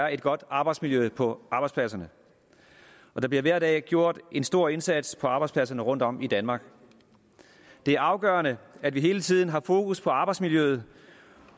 er et godt arbejdsmiljø på arbejdspladserne og der bliver hver dag gjort en stor indsats på arbejdspladserne rundtom i danmark det er afgørende at vi hele tiden har fokus på arbejdsmiljøet